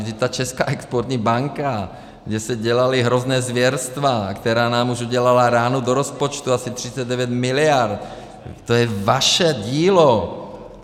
Vždyť ta Česká exportní banka, kde se dělala hrozné zvěrstva a která nám už udělala ránu do rozpočtu asi 39 mld., to je vaše dílo!